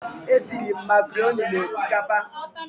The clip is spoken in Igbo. Esiri m makaroni na osikapa